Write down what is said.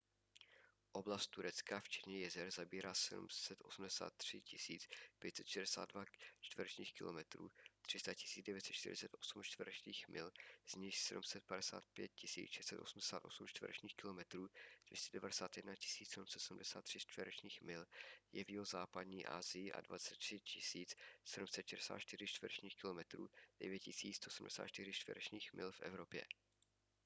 oblast turecka včetně jezer zabírá 783 562 čtverečních kilometrů 300 948 čtverečních mil z nichž 755 688 čtverečních kilometrů 291 773 čtverečních mil je v jihozápadní asii a 23 764 čtverečních kilometrů 9 174 čtverečních mil v evropě